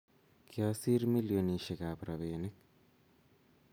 kiasir milionisiek ab robinik